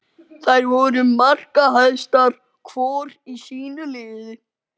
Þær voru markahæstar hvor í sínu liði.